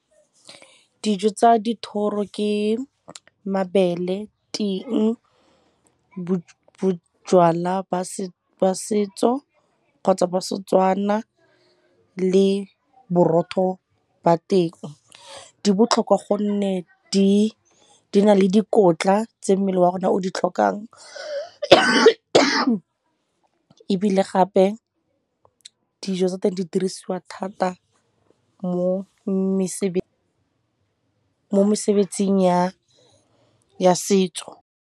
Dijo tsa dithoro ke mabele, ting, bojalwa ba setso kgotsa ba Setswana le borotho ba teng. Di botlhokwa gonne di na le dikotla tse mmele wa rona o di tlhokang ebile gape dijo tsa teng di dirisiwa thata mo mesebetsing ya setso.